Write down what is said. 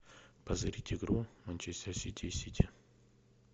позырить игру манчестер сити и сити